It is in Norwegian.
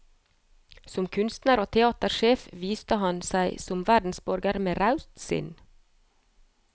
Som kunstner og teatersjef viste han seg som verdensborger med raust sinn.